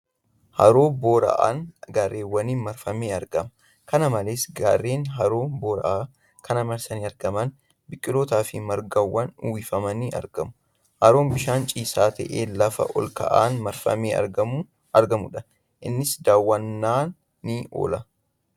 Haroo boora'aan gaarreeniin marfamee argama . Kana malees, gaarreen haroo boora'aa kana marsanii argaman biqiloota fi margaan uwwifamanii argamu. Haroon bishaan ciisaa ta'ee lafa ol ka'aan marfamee kan argamuudha. Innis daawwannaa ni oola.